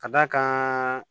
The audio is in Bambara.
Ka d'a kan